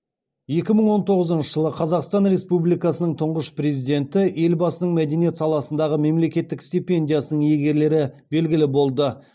екі мың он тоғызыншы жылы қазақстан республикасының тұңғыш президенті елбасының мәдениет саласындағы мемлекеттік стипендиясының иегерлері белгілі болды